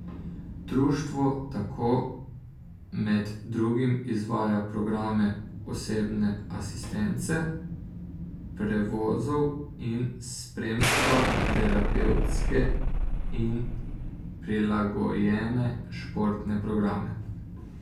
Društvo tako med drugim izvaja programe osebne asistence, prevozov in spremstva, terapevtske in prilagojene športne programe.